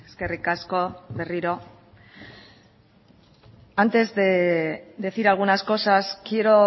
eskerrik asko berriro antes de decir algunas cosas quiero